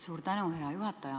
Suur tänu, hea juhataja!